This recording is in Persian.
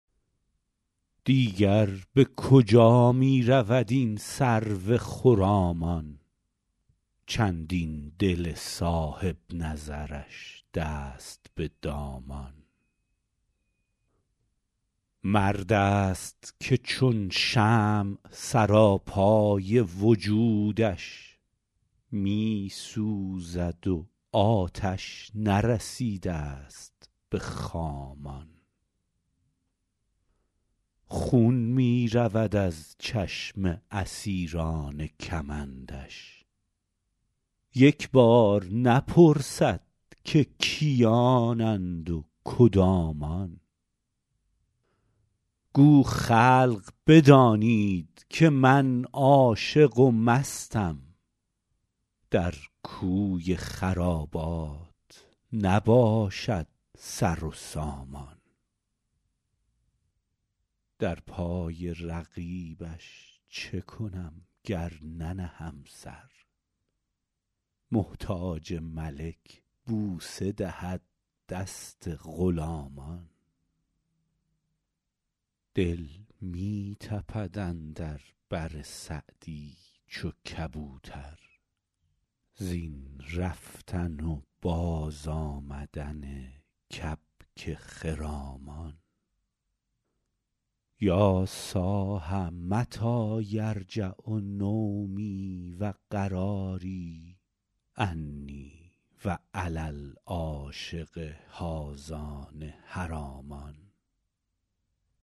دیگر به کجا می رود این سرو خرامان چندین دل صاحب نظرش دست به دامان مرد است که چون شمع سراپای وجودش می سوزد و آتش نرسیده ست به خامان خون می رود از چشم اسیران کمندش یک بار نپرسد که کیانند و کدامان گو خلق بدانید که من عاشق و مستم در کوی خرابات نباشد سر و سامان در پای رقیبش چه کنم گر ننهم سر محتاج ملک بوسه دهد دست غلامان دل می تپد اندر بر سعدی چو کبوتر زین رفتن و بازآمدن کبک خرامان یا صاح متی یرجع نومی و قراری انی و علی العاشق هذان حرامان